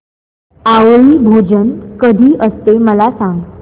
आवळी भोजन कधी असते मला सांग